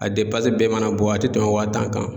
A bɛɛ mana bɔ a tɛ tɛmɛ waa tan kan.